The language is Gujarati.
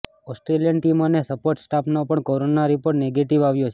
ઓસ્ટ્રેલિયન ટીમ અને સપોર્ટ સ્ટાફનો પણ કોરોના રિપોર્ટ નેગેટિવ આવ્યો છે